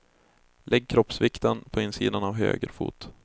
Lägg kroppsvikten på insidan av höger fot.